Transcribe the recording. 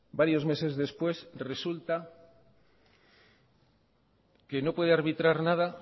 varios meses después resulta que no puede arbitrar nada